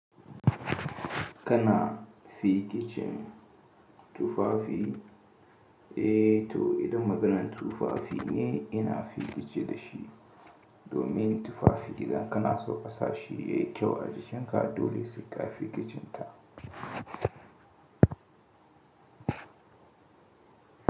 Kana fikicin tufafi, eh to idan maganan tufafi ne ina fikice dashi. Domin tufafi idan kana so kasashi yayi kyau ajjenka dole sai ka fikicin ta.